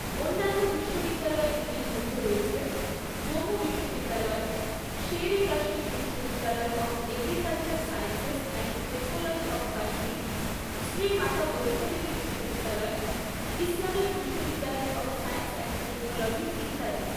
অন্যান্য বিশ্ববিদ্যালয়গুলির মধ্যে রয়েছে জম্মু বিশ্ববিদ্যালয়, শের ই কাশ্মীর বিশ্ববিদ্যালয় of agricultural sciences and technology of Kashmir, Shri Mata Vaishno Devi বিশ্ববিদ্যালয়, ইসলামিক বিশ্ববিদ্যালয় অফ সায়েন্স অ্যান্ড টেকনোলজি, ইত্যাদি।